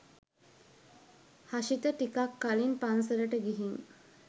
හෂිත ටිකක් කලින් පන්සලට ගිහින්